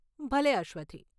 ભલે, અશ્વથી.